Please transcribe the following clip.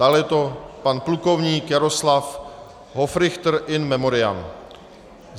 Dále je to pan plukovník Jaroslav Hofrichter in memoriam.